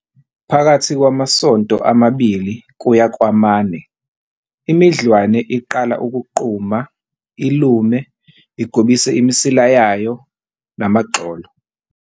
Phakathi kwamasonto amabili kuya kwamane, imidlwane iqala ukuquma, ilume, igobise imisila yayo, namagxolo.